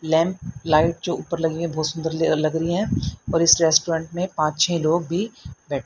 lamp light जो ऊपर लगी है बहोत सुंदर ले लग रही है और इस रेस्टोरेंट मे पांच छे लोग भी बै--